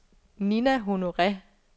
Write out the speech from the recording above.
Ninna Honore